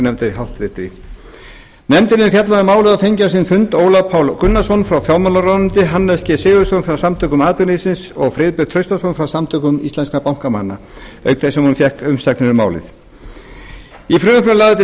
viðskiptanefnd háttvirtur nefndin hefur fjallað um málið og fengið á sinn fund ólaf pál gunnarsson frá fjármálaráðuneyti hannes g sigurðsson frá samtökum atvinnulífsins og friðbert traustason frá samtökum íslenskra bankamanna auk þess sem hún fékk umsagnir um málið í frumvarpinu eru lagðar til